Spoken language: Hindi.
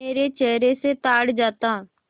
मेरे चेहरे से ताड़ जाता